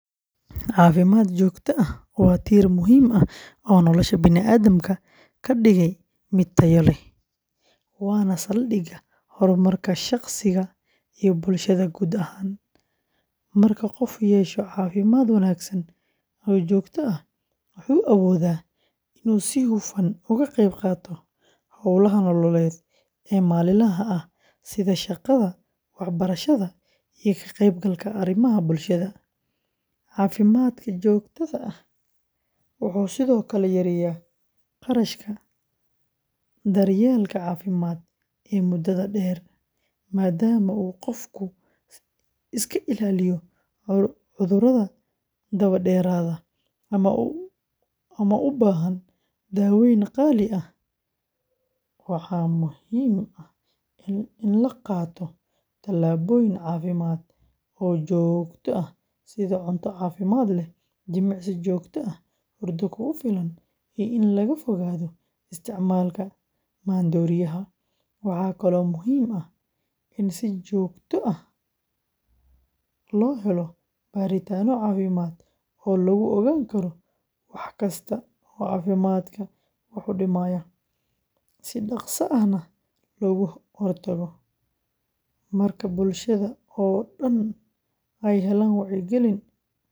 Caafimaadka joogtada ahi waa tiir muhiim ah oo nolosha bani’aadamka ka dhigaya mid tayo leh, waana saldhigga horumarka shaqsiga iyo bulshada guud ahaan. Marka qofku yeesho caafimaad wanaagsan oo joogto ah, wuxuu awoodaa inuu si hufan uga qayb qaato hawlaha nololeed ee maalinlaha ah sida shaqada, waxbarashada, iyo ka qaybgalka arrimaha bulshada. Caafimaadka joogtada ah wuxuu sidoo kale yareeyaa kharashka daryeelka caafimaadka ee muddada dheer, maadaama uu qofku iska ilaaliyo cudurrada daba dheeraada ama u baahan daaweyn qaali ah. Waxaa muhiim ah in la qaato talaabooyin caafimaad oo joogto ah sida cunto caafimaad leh, jimicsi joogto ah, hurdo kugu filan, iyo in laga fogaado isticmaalka maandooriyaha. Waxa kale oo muhiim ah in si joogto ah loo helo baaritaanno caafimaad oo lagu ogaan karo wax kasta oo caafimaadka wax u dhimaya, si dhaqso ahna looga hortago. Marka bulshada oo dhan ay helaan wacyigelin ku saabsan muhiimadda.